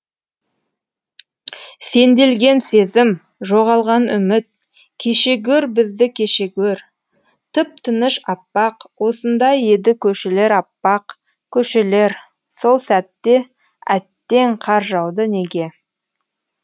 сенделген сезім жоғалған үміт кеше гөр бізді кеше гөр тып тыныш аппақ осындай еді көшелер аппақ көшелер сол сәтте әттең қар жауды неге